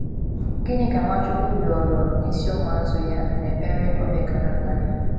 Gịnị ka Nwachukwu rịọrọ n’isi ụmụazụ ya n’ekpere o kpegaara Nna ya?